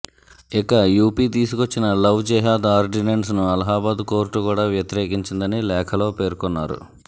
ఇక యూపీ తీసుకొచ్చిన లవ్ జిహాద్ ఆర్డినెన్స్ను అలహాబాద్ కోర్టు కూడా వ్యతిరేకించిందని లేఖలో పేర్కొన్నారు